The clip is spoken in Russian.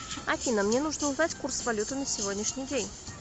афина мне нужно узнать курс валюты на сегодняшний день